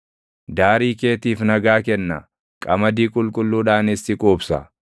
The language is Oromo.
Daarii keetiif nagaa kenna; qamadii qulqulluudhaanis si quubsa.